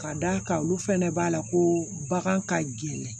Ka d'a kan olu fɛnɛ b'a la ko bagan ka gɛlɛn